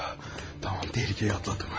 Tamam, təhlükəni atladım.